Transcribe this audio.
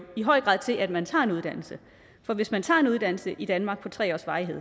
i høj grad til at man tager en uddannelse for hvis man tager en uddannelse i danmark af tre års varighed